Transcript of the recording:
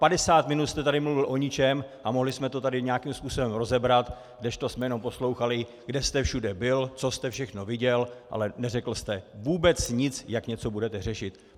Padesát minut jste tady mluvil o ničem a mohli jsme to tady nějakým způsobem rozebrat, kdežto jsme jenom poslouchali, kde jste všude byl, co jste všechno viděl, ale neřekl jste vůbec nic, jak něco budete řešit.